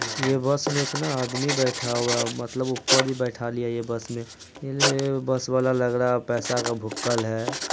ये बस में इतना आदमी बैठा हुआ है मतलब उपर भी बैठा लिया ये बस में । ये बस वाला लग रहा है पैसा का भुक्कल है।